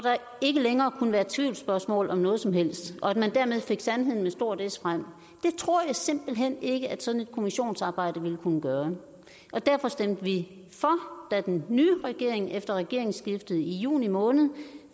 ikke længere kunne være tvivlsspørgsmål om noget som helst og at man dermed fik sandheden med stort s frem det tror jeg simpelt hen ikke at sådan et kommissionsarbejde ville kunne gøre og derfor stemte vi for da den nye regering efter regeringsskiftet i juni måned